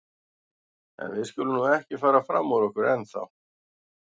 En við skulum nú ekki fara fram úr okkur ennþá.